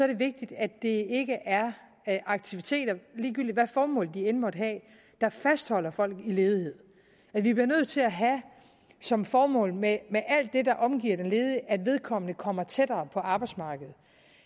det vigtigt at det ikke er aktiviteter ligegyldigt hvad formål de end måtte have der fastholder folk i ledighed vi bliver nødt til at have som formål med med alt det der omgiver den ledige at vedkommende kommer tættere på arbejdsmarkedet